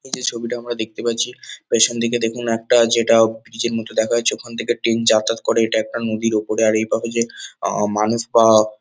এই যে ছবিটা আমরা দেখতে পাচ্ছি পেছনদিকে দেখুন একটা যেটা ব্রিজ -এর মতন দেখা যাচ্ছে ওখান থেকে ট্রেন যাতায়াত করে এটা একটা নদীর ওপরে এভাবে যে মানুষ বা --